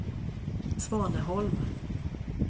Svaneholm